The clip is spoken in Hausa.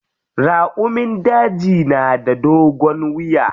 Raƙumun daji na da dogon wiya.